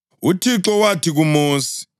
UThixo wathi kuMosi,